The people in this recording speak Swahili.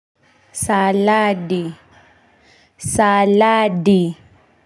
Saladi saladi.